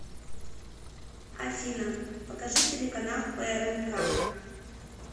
афина покажи телеканал прнк